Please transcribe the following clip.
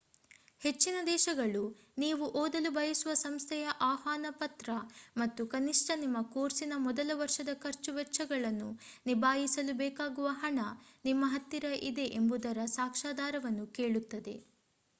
ಹೆಚ್ಚಿನ ದೇಶಗಳು ನೀವು ಓದಲು ಬಯಸುವ ಸಂಸ್ಥೆಯ ಆಹ್ವಾನ ಪತ್ರ ಮತ್ತು ಕನಿಷ್ಠ ನಿಮ್ಮ ಕೋರ್ಸಿನ ಮೊದಲ ವರ್ಷದ ಖರ್ಚು ವೆಚ್ಚಗಳನ್ನು ನಿಭಾಯಿಸಲು ಬೇಕಾಗುವ ಹಣ ನಿಮ್ಮ ಹತ್ತಿರ ಇದೆ ಎಂಬುದರ ಸಾಕ್ಷಾಧಾರವನ್ನು ಕೇಳುತ್ತವೆ